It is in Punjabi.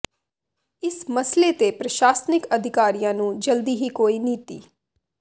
ਇਸ ਮਸਲੇ ਤੇ ਪ੍ਰਸ਼ਾਸ਼ਨਿਕ ਅਧਿਕਾਰੀਆਂ ਨੂੰ ਜਲਦੀ ਹੀ ਕੋਈ ਨੀਤੀ